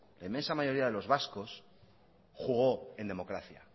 la inmensa mayoría de los vascos jugó en democracia